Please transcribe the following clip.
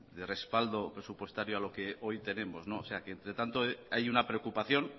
de respaldo presupuestario a lo que hoy tenemos o sea que entre tanto hay una preocupación